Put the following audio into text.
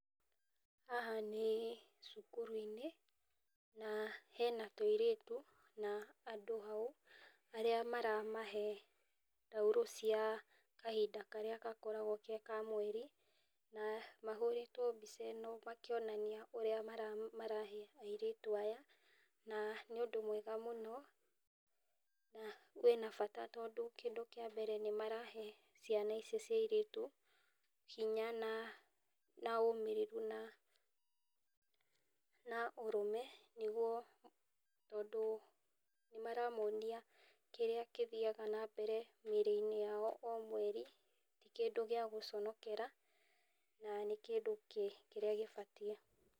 Haha ni cukuru-inĩ, na hena tũirĩtu na andũ hau arĩa maramahe taurũ cia kahinda karĩa gakoragwo ge ka mweri. Na mahũrĩtwo mbica ĩno makĩonania ũrĩa marahe airĩtu aya. Na nĩ ũndũ mwega mũno. Na kwĩ na bata tondũ kĩndũ kĩa mbere marahe ciana ici cia airĩtu hinya na ũmĩrĩrĩru, na ũrume, tondũ nĩmaramonia kĩrĩa gĩthiaga na mbere mĩrĩ-inĩ yao o mweri ti kĩndũ gĩa gũconokera na nĩ kĩndũ kĩrĩa gĩbatiĩ.